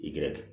Igɛrɛ